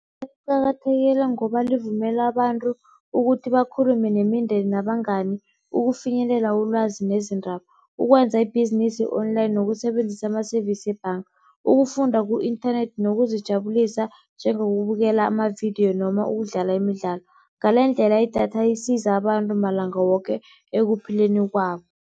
Liqakathekile ngoba livumela abantu ukuthi bakhulume nemindeni nabangani ukufinyelela ulwazi nezindaba, ukwenza ibhizinisi online, nokusebenzisa ama-service webhanga. Ukufunda ku-inthanethi nokuzijabulisa njengokubukela amavidiyo noma ukudlala imidlalo. Ngalendlela idatha isiza abantu malanga woke ekuphileni kwabo.